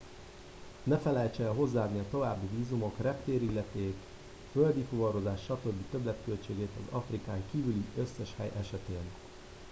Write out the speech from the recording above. ne felejtse el hozzáadni a további vízumok reptéri illeték földi fuvarozás stb többletköltségeit az afrikán kívüli összes hely esetén